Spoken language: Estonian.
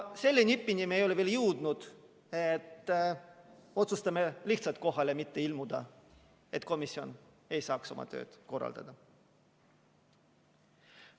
Selle nipini me ei ole veel jõudnud, et otsustame lihtsalt mitte kohale ilmuda, et komisjon ei saaks oma tööd korraldada.